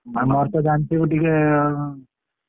ଆଉ ମୋର ତ ଜାଣିଥିବୁ ଟିକେ